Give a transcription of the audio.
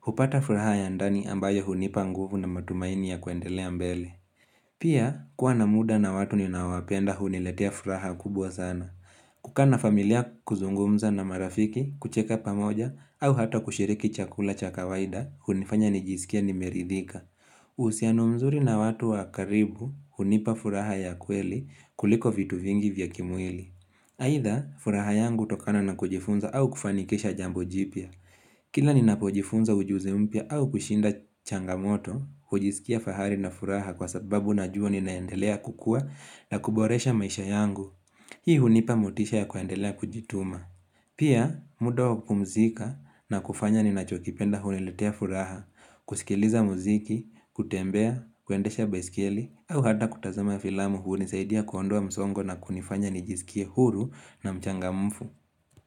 hupata furaha ya ndani ambayo hunipa nguvu na matumaini ya kuendelea mbele Pia kuwa na muda na watu ninaowapenda huniletea furaha kubwa sana kukaa na familia kuzungumza na marafiki, kucheka pamoja, au hata kushiriki chakula cha kawaida, hunifanya nijisikie nimeridhika. Uhusianu mzuri na watu wa karibu, hunipa furaha ya kweli kuliko vitu vingi vya kimwili. Aidha, furaha yangu hutokana na kujifunza au kufanikisha jambo jipya. Kila ninapojifunza ujuzi mpya au kushinda changamoto, hujisikia fahari na furaha kwa sababu najua ninaendelea kukua na kuboresha maisha yangu. Hii hunipa motisha ya kuandelea kujituma. Pia, muda wa kupumzika na kufanya ninacho kipenda huniletea furaha, kusikiliza muziki, kutembea, kuendesha besikieli, au hata kutazama filamu hunisaidia kuondua msongo na kunifanya nijisikie huru na mchangamfu.